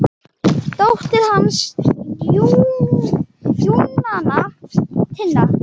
Dóttir hans er Júníana Tinna.